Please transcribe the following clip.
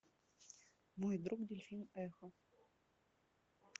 мой друг дельфин эхо